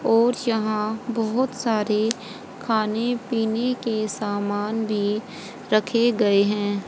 और यहां बहुत सारे खाने पीने के सामान भी रखे गए हैं।